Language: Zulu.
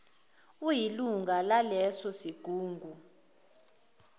uyilunga laleso sigungu